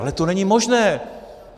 Ale to není možné.